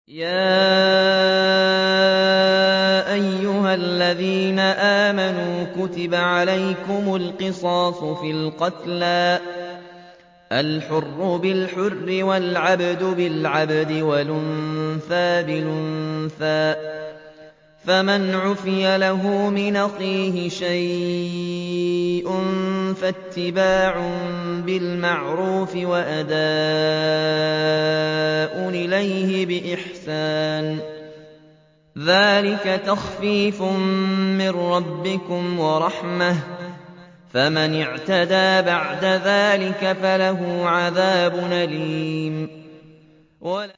يَا أَيُّهَا الَّذِينَ آمَنُوا كُتِبَ عَلَيْكُمُ الْقِصَاصُ فِي الْقَتْلَى ۖ الْحُرُّ بِالْحُرِّ وَالْعَبْدُ بِالْعَبْدِ وَالْأُنثَىٰ بِالْأُنثَىٰ ۚ فَمَنْ عُفِيَ لَهُ مِنْ أَخِيهِ شَيْءٌ فَاتِّبَاعٌ بِالْمَعْرُوفِ وَأَدَاءٌ إِلَيْهِ بِإِحْسَانٍ ۗ ذَٰلِكَ تَخْفِيفٌ مِّن رَّبِّكُمْ وَرَحْمَةٌ ۗ فَمَنِ اعْتَدَىٰ بَعْدَ ذَٰلِكَ فَلَهُ عَذَابٌ أَلِيمٌ